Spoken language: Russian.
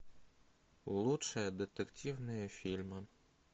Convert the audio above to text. лучшие детективные фильмы